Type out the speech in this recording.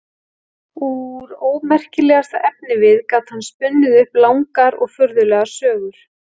Úr ómerkilegasta efnivið gat hann spunnið upp langar og furðulegar sögur.